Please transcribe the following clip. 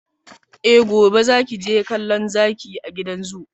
Eh! gobe zaki je kallo zaki a gidan zoo.